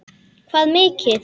Hvað mikið?